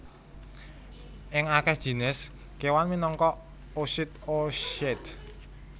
Ing akèh jinis kéwan minangka oosit oocyte